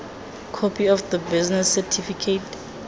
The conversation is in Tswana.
copy of the business certificate